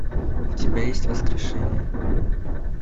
у тебя есть воскрешение